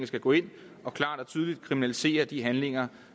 skal gå ind og klart og tydeligt kriminalisere de handlinger